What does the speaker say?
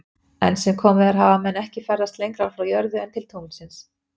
Enn sem komið er hafa menn ekki ferðast lengra frá jörðu en til tunglsins.